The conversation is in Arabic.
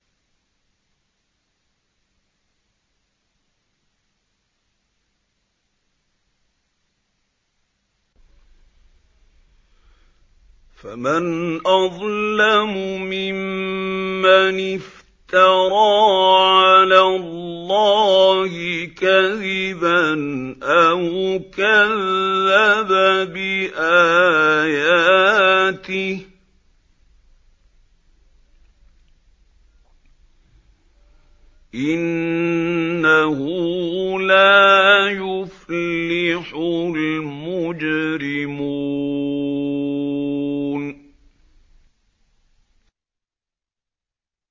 فَمَنْ أَظْلَمُ مِمَّنِ افْتَرَىٰ عَلَى اللَّهِ كَذِبًا أَوْ كَذَّبَ بِآيَاتِهِ ۚ إِنَّهُ لَا يُفْلِحُ الْمُجْرِمُونَ